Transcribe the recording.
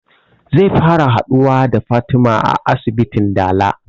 Zai fara haɗuwa da fatima a asibitin dala